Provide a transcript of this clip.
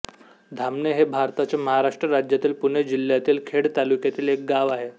धामणे हे भारताच्या महाराष्ट्र राज्यातील पुणे जिल्ह्यातील खेड तालुक्यातील एक गाव आहे